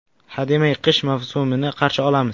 Hademay, qish mavsumini qarshi olamiz.